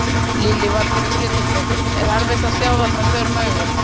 Lillý Valgerður Pétursdóttir: Er erfitt að sjá þær með berum augum?